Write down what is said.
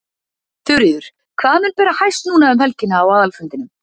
Þuríður, hvað mun bera hæst núna um helgina á aðalfundinum?